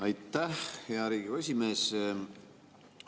Aitäh, hea Riigikogu esimees!